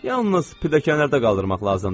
Yalnız pilləkənlərdə qaldırmaq lazımdır.